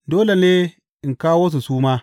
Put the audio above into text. Dole ne in kawo su su ma.